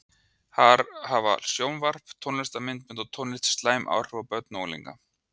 Hafa sjónvarp, tónlistarmyndbönd og tónlist, slæm áhrif á börn og unglinga?